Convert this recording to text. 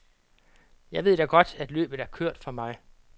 Jeg ved da godt, at løbet er kørt for mig.